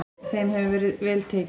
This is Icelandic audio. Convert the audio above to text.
Þeim hefur verið vel tekið.